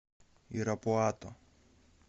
ирапуато